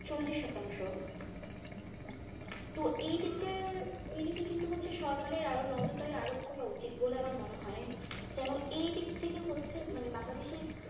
চল্লিশ শতাংশ তো এই দিকটা এই দিকে কিন্তু হচ্ছে সরকারের আরো নজরদারি আরোপ করা উচিত বলে আমার মনে হয় যেন এই দিক থেকে হচ্ছে মানে বাংলাদেশে